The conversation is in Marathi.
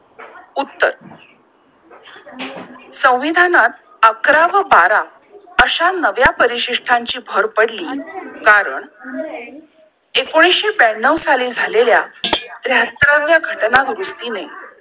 उत्तर संविधानात अकरा व बारा अश्या नव्या परिसिष्ठांची भर पडली कारण एकोणीसशे ब्यांनो साली झालेला त्र्याहात्तरवा घटनावृत्ती ने